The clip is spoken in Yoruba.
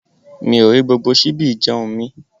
Mi ò rí gbogbo ṣíbí ìjẹ̀un mí.